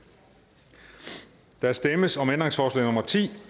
der stemmes om ændringsforslag nummer ti